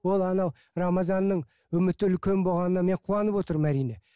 ол анау рамазанның үміті үлкен болғанына мен қуанып отырмын әрине